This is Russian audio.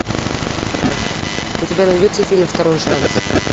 у тебя найдется фильм второй шанс